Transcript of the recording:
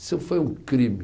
Isso foi um crime.